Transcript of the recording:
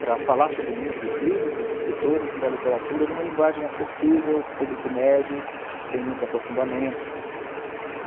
para falar sobre o mundo dos livros, dos escritores e da literatura numa linguagem acessível, público médio, sem muitos aprofundamentos.